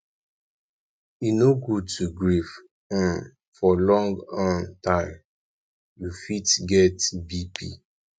e no good to grief um for long um time you fit get bp